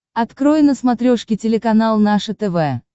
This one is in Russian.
открой на смотрешке телеканал наше тв